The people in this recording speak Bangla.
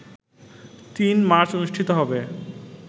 ৩ মার্চ অনুষ্ঠিত হবে